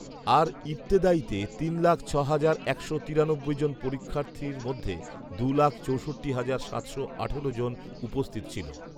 আর ইবতেদায়ীতে তিন লাখ ছ হাজার একশো তিরানব্বই জন পরীক্ষার্থীর মধ্যে দু লাখ চৌষট্টি হাজার সাতশো আঠারো জন উপস্থিত ছিল